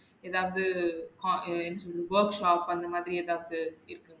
எதாவுது ஹம் என்ன சொல்றது workshop அந்த மாதிரி எதாவுது?